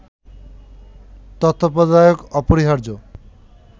তত্ত্বাবধায়ক অপরিহার্য